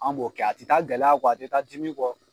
An b'o kɛ a tɛ taa gɛlɛya kɔ, a tɛ taa dimi kɔ